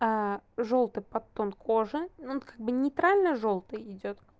жёлтый под тон кожи но он как бы нейтрально жёлтый идёт